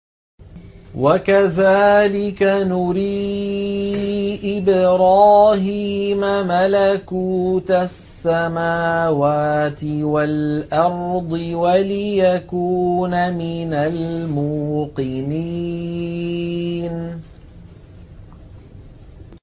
وَكَذَٰلِكَ نُرِي إِبْرَاهِيمَ مَلَكُوتَ السَّمَاوَاتِ وَالْأَرْضِ وَلِيَكُونَ مِنَ الْمُوقِنِينَ